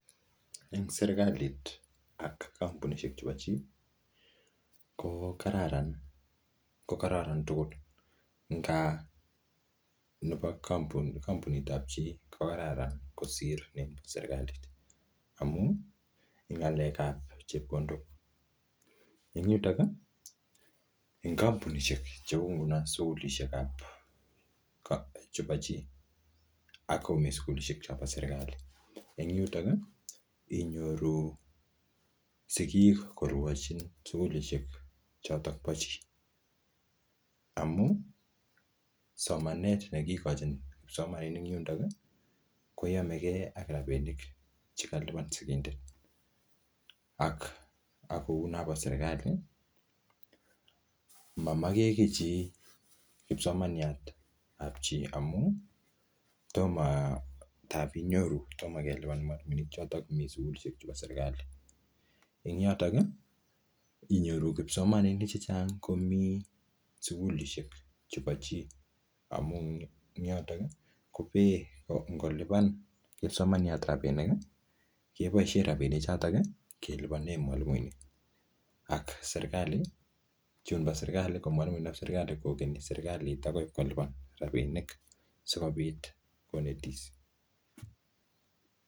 Eng serikalit ak kampunishek chebo chii, ko kararan-ko kokararan tugul. Eng kaa nebo kampunit ap chii, ko kararan kosir ne serikalit. Amuu ng'alek ap chepkondok. Eng yutok, eng kampunishek cheu nguno sukulishek ap kap chebo chii, akomii sukulishek chopo serikali. Eng yutok, inyoru sigik korwochin sukulishek chotok po chii. Amuu somanet ne kikochin kipsomaninik eng yundok, koyamege ak rabinik che kalipan sigindet. Ak akou nobo serikali. Mamage kiy chi kipsomaniat ap chii amuu, toma, tap inyoru toma kelipan mwalimuinik chotok mi sukulishek chebo serikali. Eng yotok, inyoru kipsomaninik chechang komii sukulishek chepo chii. Amu ing yotok, kopee ngolipan kipsomaniat rabinik, keboisie rabinik chotok kelipane mwalimuinik, ak serikali. Chun bo serikali, ko mwalimuinik ap serikali, kokenyi serikalit akoi ipkolipan rabini, sikobit konetis.